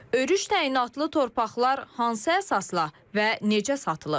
Örüş təyinatlı torpaqlar hansı əsasla və necə satılıb?